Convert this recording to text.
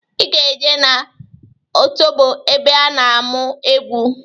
I ga-eje n'otobo ebe a na-amụ egwu!